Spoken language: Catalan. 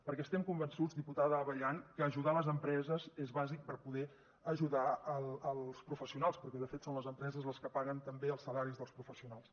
perquè estem convençuts diputada abellán que ajudar les empreses és bàsic per a poder ajudar els professionals perquè de fet són les empreses les que paguen també els salaris dels professionals